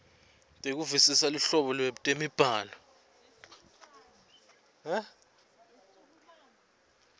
tekuvisisa luhlobo lwetemibhalo